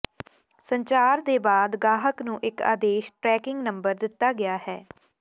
ਸੰਚਾਰ ਦੇ ਬਾਅਦ ਗਾਹਕ ਨੂੰ ਇਕ ਆਦੇਸ਼ ਟਰੈਕਿੰਗ ਨੰਬਰ ਦਿੱਤਾ ਗਿਆ ਹੈ